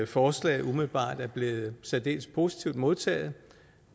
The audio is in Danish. forslaget umiddelbart er blevet særdeles positivt modtaget